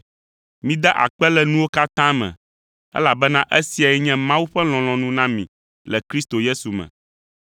Mida akpe le nuwo katã me, elabena esiae nye Mawu ƒe lɔlɔ̃nu na mi le Kristo Yesu me.